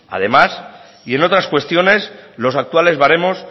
además y en otras cuestiones los actuales baremos